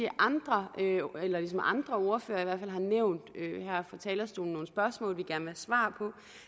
andre ordførere har nævnt her fra talerstolen nogle spørgsmål vi gerne svar på